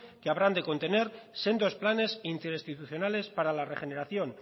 que habrán de contener sendos planes interinstitucionales para la regeneración